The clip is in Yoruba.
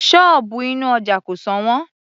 Sọ́ọ̀bù inú ọja kò sọ̀wọ́n